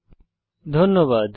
অংশগ্রহনের জন্য ধন্যবাদ